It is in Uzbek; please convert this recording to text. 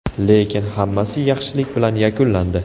Lekin hammasi yaxshilik bilan yakunlandi.